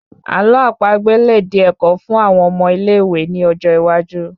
Àlọ́ àpagbè lè di ẹ̀kọ́ fún àwon ọmọ ilé ìwé ní ọjọ iwájú